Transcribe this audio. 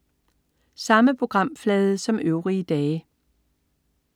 Samme programflade som øvrige dage